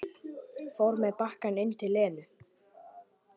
Fór með bakkann inn til Lenu.